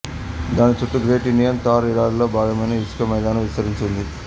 దాని చుట్టూ great Indian Thar ఎడారిలో భాగమైన ఇసుక మైదానం విస్తరించి ఉంది